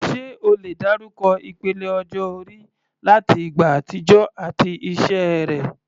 Ṣé o lè dárúkọ ìpele ọjọ́ orí láti ìgbà àtijọ́ àti iṣẹ́ rẹ̀?